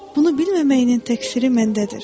Bunu bilməməyinin təkfiri məndədir.